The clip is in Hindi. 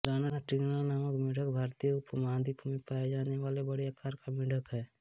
राना टिग्रिना नामक मेढ़क भारतीय उपमहाद्वीप में पाया जाने वाला बड़े आकार का मेढ़क है